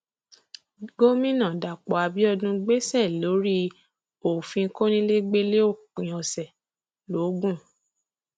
gomina dapò abiodun gbèsè lórí òfin kọnilẹgbẹlẹ òpin ọsẹ logun